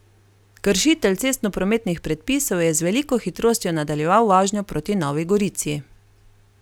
Kršitelj cestnoprometnih predpisov je z veliko hitrostjo nadaljeval vožnjo proti Novi Gorici.